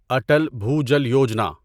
Atal Bhujal Yojana